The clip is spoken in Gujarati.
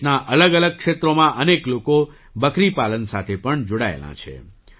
દેશનાં અલગઅલગ ક્ષેત્રોમાં અનેક લોકો બકરી પાલન સાથે પણ જોડાયેલા છે